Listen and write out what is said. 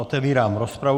Otevírám rozpravu.